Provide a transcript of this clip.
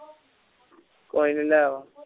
ਕੋਈ ਨੀ ਲੈ ਆ